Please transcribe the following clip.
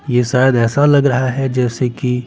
ये शायद ऐसा लग रहा है जैसे कि--